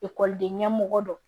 Ekɔliden ɲɛmɔgɔ dɔ